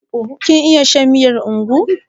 Kin iya shan miyar ugwu?